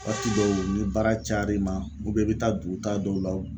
waati dɔw ni baara cayar'i ma i be taa dugutaa dɔw la o